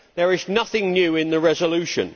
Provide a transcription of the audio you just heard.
There is nothing new in the resolution.